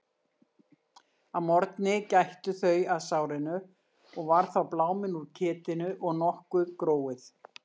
Að morgni gættu þau að sárinu og var þá bláminn úr ketinu og nokkuð gróið.